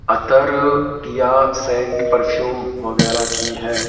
अतर या scent perfume वगैरह की है।